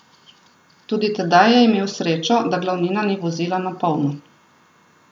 Tudi tedaj je imel srečo, da glavnina ni vozila na polno.